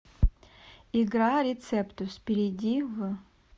игра рецептус перейди в